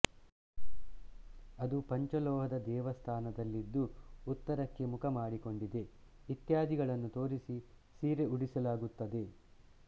ಅದು ಪಂಚಲೋಹದ ದೇವಸ್ಥಾನದಲ್ಲಿದ್ದು ಉತ್ತರಕ್ಕೆ ಮುಖ ಮಾಡಿಕೊಂಡಿದೆ ಇತ್ಯಾದಿಗಳನ್ನು ತೋರಿಸಿ ಸೀರೆ ಉಡಿಸಲಾಗುತ್ತದೆ